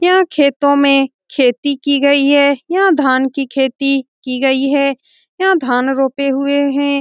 यहाँ खेतो में खेती की गयी हैं। यहाँ धान की खेती की गयी हैं। यहाँ धान रोपे हुए हैं।